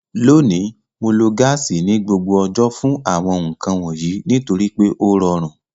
Lónìí, Mo lo gáàsì ní gbogbo ọjọ́ fún àwọn nǹkan wọ̀nyí nítorí pé ó rọrùn